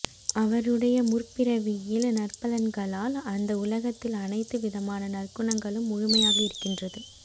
அவருடைய முற்பிறவியில் நற்பலன்களால் அந்த உலகத்தில் அனைத்து விதமான நற்குணங்களும் முழுமையாக இருக்கின்றது